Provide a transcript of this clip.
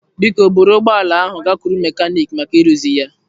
Biko buru ụgbọ ala ahụ gakwuru mekaniki maka ịrụzi ya.